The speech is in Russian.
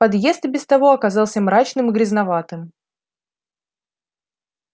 подъезд и без того оказался мрачным и грязноватым